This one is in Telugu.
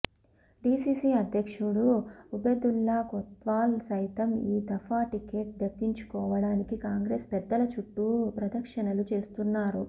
డీసీసీ అధ్యక్షుడు ఉబెదుల్లా కొత్వాల్ సైతం ఈ దఫా టికెట్ దక్కించుకోవడానికి కాంగ్రెస్ పెద్దల చుట్టూ ప్రదక్షిణలు చేస్తున్నారు